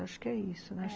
Acho que é isso, né?